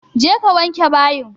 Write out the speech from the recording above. Je ka wanke bayin!